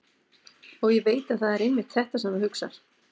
Og ég veit að það er einmitt þetta sem þú hugsar.